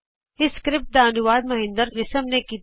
ਇਸ ਸਕਰਿਪਟ ਦਾ ਅਨੁਵਾਦ ਮਹਿੰਦਰ ਰਿਸ਼ਮ ਨੇ ਕੀਤਾ ਹੈ